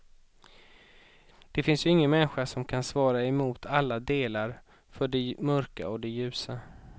Det finns ju ingen människa som kan svara emot alla delar, för det mörka och det ljusa.